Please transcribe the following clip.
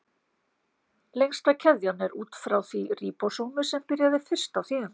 Lengsta keðjan er út úr því ríbósómi sem byrjaði fyrst á þýðingunni.